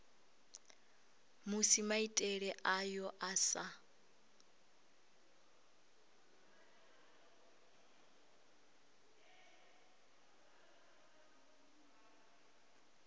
musi maitele ayo a sa